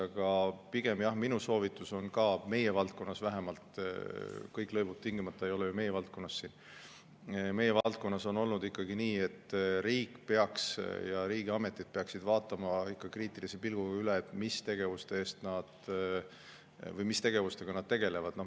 Aga pigem jah, minu soovitus, vähemalt meie valdkonnas – kõik lõivud ei ole ju tingimata meie valdkonnas – on olnud ikkagi nii, et riik peaks ja riigiametid peaksid vaatama kriitilise pilguga üle, mis tegevusi nad teevad.